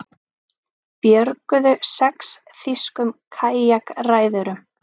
Björguðu sex þýskum kajakræðurum